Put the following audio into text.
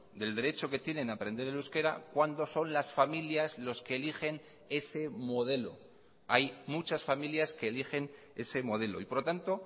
del derecho que tienen a aprender el euskera cuando son las familias los que eligen ese modelo hay muchas familias que eligen ese modelo y por lo tanto